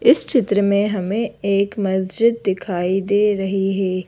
इस चित्र में हमें एक मस्जिद दिखाई दे रही है।